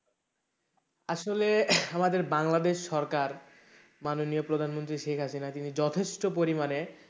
আসলে আমাদের বাংলাদেশ সরকার মাননীয়া প্রধানমন্ত্রী শেখ হাসিনা তিনি যথেষ্ট পরিমানে,